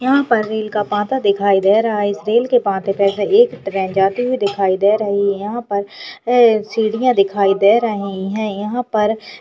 यहाँ पर रेल का पाता दिखाई दे रहा है इस रेल के पाते पर से एक ट्रेन जाते हुआ दिखाई दे रही है यहाँ पर सीढ़ियाँ दिखाई दे रही हैं यहाँ पर --